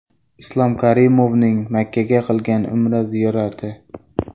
Islom Karimovning Makkaga qilgan Umra ziyorati.